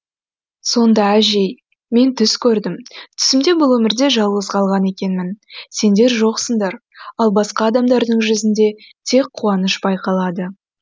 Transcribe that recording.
сонда әжей мен түс көрдім түсімде бұл өмірде жалғыз қалған екенмін сендер жоқсыңдар ал басқа адамдардың жүзінде тек қуаныш байқалады